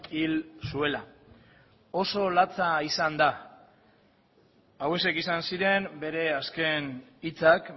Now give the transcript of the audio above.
hil zuela oso latza izan da hauexek izan ziren bere azken hitzak